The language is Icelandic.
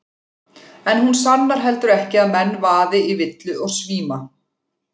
En hún sannar heldur ekki að menn vaði í villu og svíma.